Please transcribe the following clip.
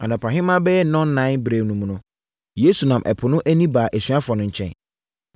Anɔpahema bɛyɛ nnɔnnan berɛ mu no, Yesu nam ɛpo no ani baa asuafoɔ no nkyɛn.